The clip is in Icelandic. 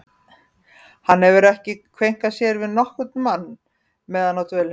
Hann hafði ekki kveinkað sér við nokkurn mann meðan á dvölinni stóð.